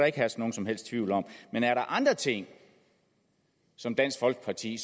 ikke herske nogen som helst tvivl om men er der andre ting som dansk folkeparti